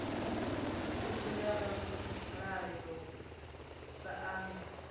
thuso ya ramulayo sa idzwo